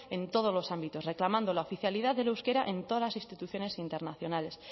en todos los ámbitos reclamando la oficialidad del euskera en todas las instituciones internacionales